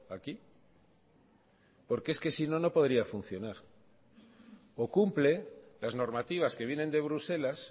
aquí por que es que sino no podría funcionar o cumple las normativas que vienen de bruselas